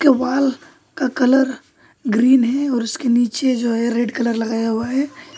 Wall का colour green है और उसके नीचे जो है रेड कलर लगाया हुआ है।